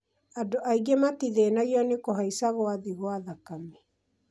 andũ angĩ matithĩnagio nĩ kuhaica gwa thĩ gwa thakame